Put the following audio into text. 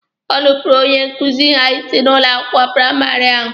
O nupuuru onye nkuzi ha isi n'ụlọ akwụkwọ praịmarị ahụ.